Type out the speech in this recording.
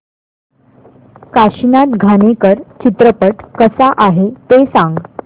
काशीनाथ घाणेकर चित्रपट कसा आहे ते सांग